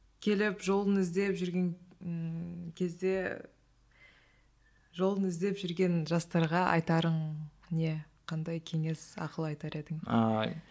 келіп жолын іздеп жүрген кезде жолын іздеп жүрген жастарға айтарың не қандай кеңес ақыл айтар едің ааа